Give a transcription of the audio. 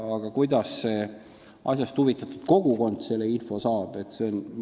Aga kuidas asjast huvitatud kogukond selle info kätte saab?